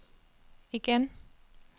igen